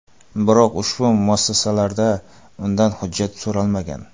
Biroq, ushbu muassasalarda undan hujjat so‘ralmagan.